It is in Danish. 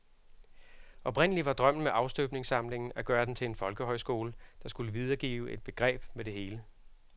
Oprindelig var drømmen med afstøbningssamlingen at gøre den til en folkehøjskole, der skulle videregive et begreb med det hele.